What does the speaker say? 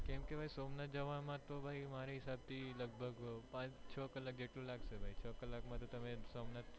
કેમકે સોમનાથ જવામાં માં તો મારા ખ્યાલ થી પાંચ છ કલાક લાગશે છ કલાક માટે તમે સોમનાથ